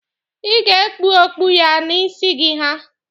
Ị ga-ekpu okpu ya na isi gị ha.